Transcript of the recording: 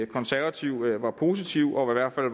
konservative var positiv og i hvert fald